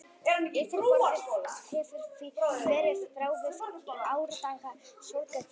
Yfirborðið hefur því verið bráðið í árdaga sólkerfisins.